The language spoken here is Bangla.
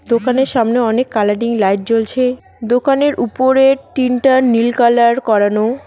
দোকানের সামনে অনেক কালারিং লাইট জ্বলছে দোকানের উপরের টিনটা নীল কালার করানো।